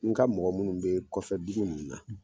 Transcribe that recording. N ka mɔgɔ minnu be kɔfɛ butigi ninnu na